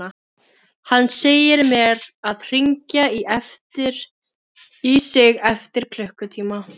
Hann segir mér að hringja í sig eftir klukkutíma.